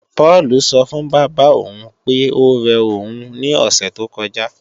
Páùlù sọ fún bábà òun pé óre òun ní òsè tó kọjá